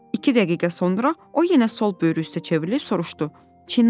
İki dəqiqə sonra o yenə sol böyrü üstə çevrilib soruşdu: